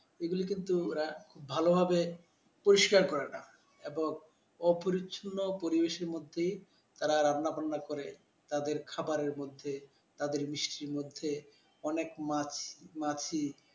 এগুলো কিন্তু ভালোভাবে পরিষ্কার করে না এবং অপরিচ্ছন্ন পরিবেশে মধ্যে তারা রান্নাবান্না করে তাদের খাবারের মধ্যে তাদের মিষ্টির মধ্যে অনেক মাছ~মাছি ।